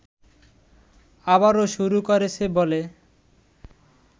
আবারও শুরু করেছে বলে